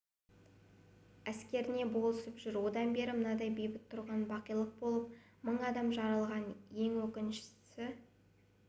әскеріне болысып жүр содан бері мыңдай бейбіт тұрғын бақилық болып мың адам жараланған ең өкініштісі